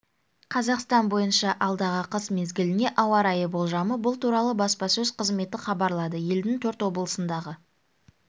қазақстан бойынша алдағы қыс мезгіліне ауа райы болжамы бұл туралы баспасөз қызметі хабарлады елдің төрт облысындағы